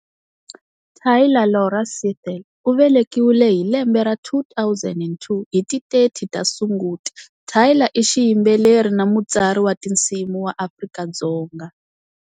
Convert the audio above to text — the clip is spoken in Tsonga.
Tyla Laura Seethal u velekiwile hi lembe ra 2002 hi ti 30 ta Sunguti, Tyla i xiyimbeleri na mutsari wa tinsimu wa Afrika-Dzonga.